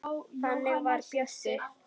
Þannig var Bjössi.